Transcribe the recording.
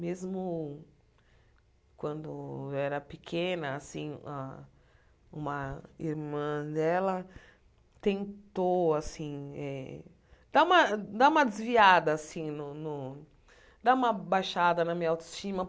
Mesmo quando eu era pequena assim, a uma irmã dela tentou assim eh dar uma dar uma desviada assim no no, dar uma baixada na minha autoestima.